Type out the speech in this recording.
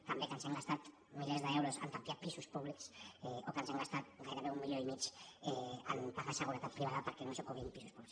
també que ens hem gastat milers d’euros a tapiar pisos públics o que ens hem gastat gairebé un milió i mig en pagar seguretat privada perquè no s’ocupin pisos buits